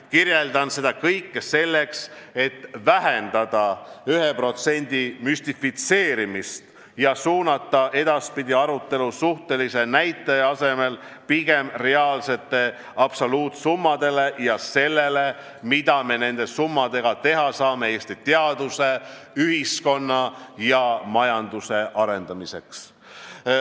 Kirjeldan seda kõike selleks, et vähendada selle 1% müstifitseerimist ja suunata edaspidi arutelu suhtelise näitaja asemel pigem reaalsetele absoluutsummadele ja sellele, mida me nende summadega saame teha Eesti teaduse, ühiskonna ja majanduse arendamiseks.